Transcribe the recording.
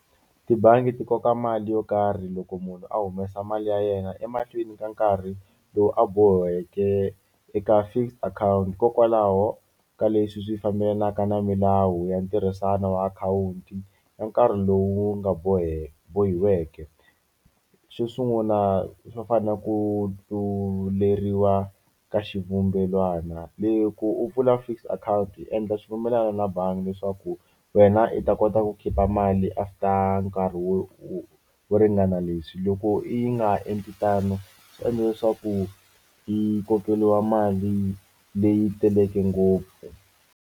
Tibangi ti koka mali yo karhi loko munhu a humesa mali ya yena emahlweni ka nkarhi lowu a boheke eka fixed akhawunti hikokwalaho ka leswi swi fambelanaka na milawu ya ntirhisano wa akhawunti ya nkarhi lowu nga boheke bohiweke. Xo sungula swo fana na ku tluleriwa ka xivumbelwana loko u pfula fixed akhawunti u endla xipfumelana na bangi leswaku wena i ta kota ku khipa mali after nkarhi wo wo wo ringana leswi. Loko i nga endli tano swi endla leswaku i kokeriwa mali leyi teleke ngopfu.